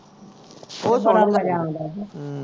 ਉਹ ਬੜਾ ਮਜਾ ਆਉਂਦਾ